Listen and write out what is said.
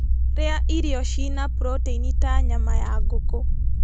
Rĩa irio ciĩna proteini ta nyama ya ngũkũ